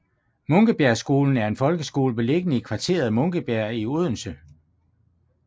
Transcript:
Munkebjergskolen er en folkeskole beliggende i kvarteret Munkebjerg i Odense